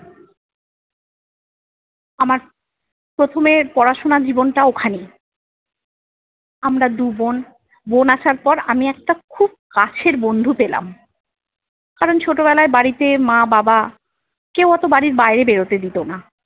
আমার প্রথমে পড়াশোনার জীবনটা ওখানেই। আমরা দুবোন বোন আসার পর আমি একটা খুব কাছের বন্ধু পেলাম। কারণ ছোটবেলায় বাড়িতে মা বাবা কেউ অতো বাড়ির বাইরে বেরোতে দিতো না।